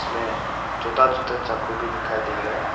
मे छोटा छोटा चाकू भी दिखाई दे रहा है।